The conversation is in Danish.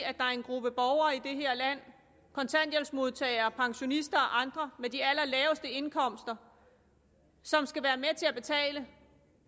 det her land kontanthjælpsmodtagere pensionister og andre med de allerlaveste indkomster som skal være med til at betale